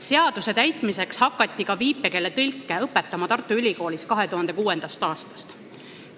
Seaduse täitmiseks hakati Tartu Ülikoolis 2006. aastast viipekeele tõlke õpetama.